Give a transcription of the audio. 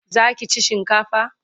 Za ki ci shinkafa?